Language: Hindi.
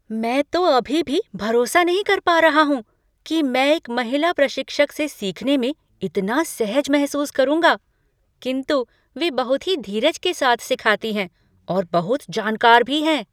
मैं तो अभी भी भरोसा नहीं कर पा रहा हूँ कि मैं एक महिला प्रशिक्षक से सीखने में इतना सहज महसूस करूंगा, किंतु वे बहुत ही धीरज के साथ सिखाती हैं और बहुत जानकार भी हैं।